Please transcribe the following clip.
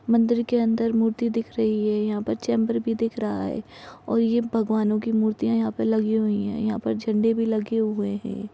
मंदिर के अंदर मूर्ति दिख रही है। यहां पर चैंबर भी दिख रहा है। और ये भगवानों की मूर्तियां यहां पर लगी हुई हैं। यहां पर झंडे भी लगे हुए हैं ।